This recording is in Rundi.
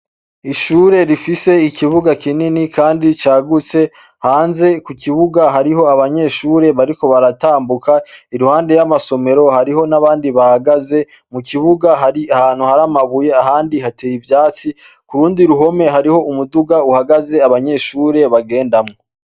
Ishure rifise ikibuga kinini kandi cagutse, hanze kukibuga hariho abanyeshure bariko baratambuka iruhande y’amasomero, hariho nabandi bahagaze mu kibuga hari ahantu hari amabuye ahandi hateye ivyatsi, kurundi ruhome hariho umuduga uhagaze abanyeshure bagendamwo.